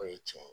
O ye tiɲɛ ye